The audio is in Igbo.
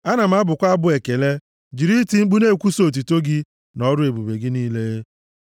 Ana m abụkwa abụ ekele, jiri iti mkpu na-ekwusa otuto gị, na ọrụ ebube gị niile.